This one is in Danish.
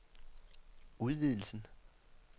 udvidelsen